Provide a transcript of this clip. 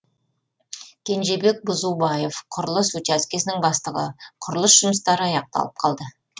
кенжебек бұзубаев құрылыс учаскесінің бастығы құрылыс жұмыстары аяқталып қалды